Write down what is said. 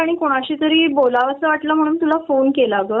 अग मनावरती खूप दिवस झाले एक दडपण चालू आहे.